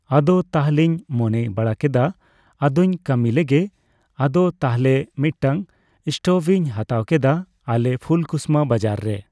ᱟᱫᱚ ᱛᱟᱦᱚᱞᱮᱧ ᱢᱚᱱᱮ ᱵᱟᱲᱟ ᱠᱮᱫᱟ ᱟᱫᱚᱧ ᱠᱟᱹᱢᱤ ᱞᱮᱜᱮ ᱟᱫᱚ ᱛᱟᱦᱹᱞᱮ ᱢᱤᱫᱴᱟᱝ ᱤᱥᱴᱳᱵᱷ ᱤᱧ ᱦᱟᱛᱟᱣ ᱠᱮᱫᱟ ᱟᱞᱮ ᱯᱷᱩᱞ ᱠᱩᱥᱢᱟ ᱵᱟᱡᱟᱨ ᱨᱮ ᱾